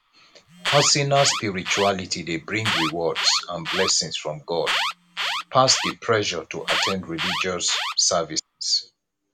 personal spirituality de bring rewards and blessings from god pass di pressure to at ten d religious services